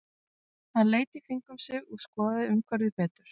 Hann leit í kringum sig og skoðaði umhverfið betur.